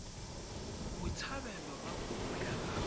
botshabelo fa kopo ya gagwe